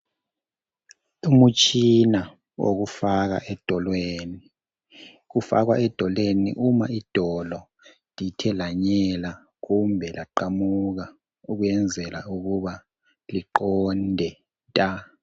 Umtshina owokufaka edolweni, kufakwa edolweni uma idolo lithe lanyela kumbe laqamuka ukwenzela ukuba liqonde nta